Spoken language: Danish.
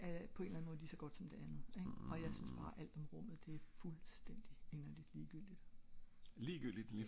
så det ene er på en eller anden måde lige så godt som det andet jeg synes bare alt om rummet det er fuldstændigt inderligt ligegyldigt